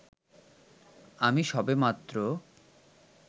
আমি সবেমাত্র